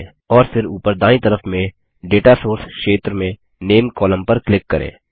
और फिर ऊपर दायीं तरफ में डेटा सोर्स क्षेत्र में नामे कोलम्न पर क्लिक करें